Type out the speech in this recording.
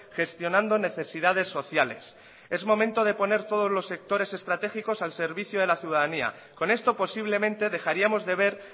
gestionando necesidades sociales es momento de poner todos los sectores estratégicos al servicio de la ciudadanía con esto posiblemente dejaríamos de ver